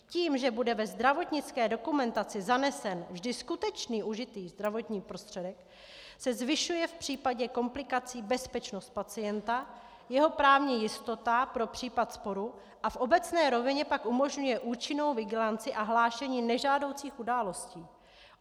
Tím, že bude ve zdravotnické dokumentaci zanesen vždy skutečný užitý zdravotní prostředek, se zvyšuje v případě komplikací bezpečnost pacienta, jeho právní jistota pro případ sporu a v obecné rovině pak umožňuje účinnou vigilanci a hlášení nežádoucích událostí.